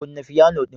Kunna piano din